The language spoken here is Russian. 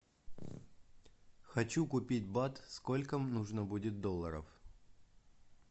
хочу купить бат сколько нужно будет долларов